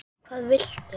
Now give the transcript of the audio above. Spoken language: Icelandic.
hvað viltu?